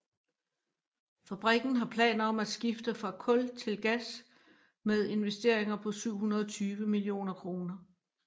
Fabrikken har planer om at skifte fra kul til gas med investeringer på 720 mio kr